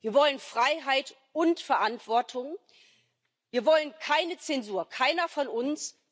Wir wollen Freiheit und Verantwortung. Wir wollen keine Zensur. Keiner von uns!